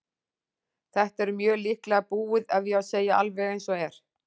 Þetta er mjög líklega búið ef ég á að segja alveg eins og er.